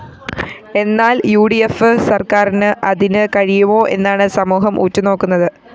എന്നാല്‍ U D F സര്‍ക്കാറിന് അതിന് കഴിയുമോ എന്നാണ് സമൂഹം ഉറ്റുനോക്കുന്നത്